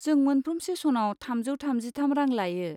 जों मोनफ्रोम सेसनाव थामजौ थामजिथाम रां लायो।